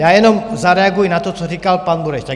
Já jenom zareaguji na to, co říkal pan Bureš.